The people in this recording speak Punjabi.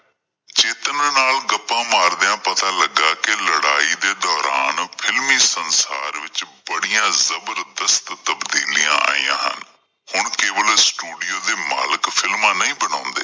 ਚੇਤਨ ਨਾਲ ਗੱਪਾਂ ਮਾਰਦਿਆਂ ਪਤਾ ਲੱਗਾ ਕੀ ਲੜਾਈ ਦੇ ਦੋਰਾਨ ਫਿਲਮੀ ਸੰਸਾਰ ਵਿੱਚ ਬੜੀਆਂ ਜਬਰਦਸਤ ਤਬਦੀਲੀਆਂ ਆਇਆਂ ਹਨ ਹ ਉਣਨ ਕੇਵਲ ਸਟੂਡੀਓ ਦੇ ਮਾਲਿਕ ਫਿਲਮਾਂ ਨਹੀਂ ਬਣਾਉਂਦੇ।